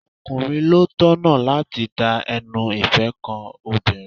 Ọkùnrin ló tọ̀nà láti da ẹnu ìfẹ́ ko obìnrin.